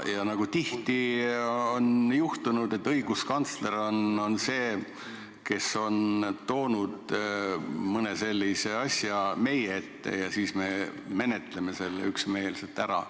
Ja nagu tihti on juhtunud, on õiguskantsler toonud mõne sellise asja meie ette ja siis me menetleme selle üksmeelselt ära.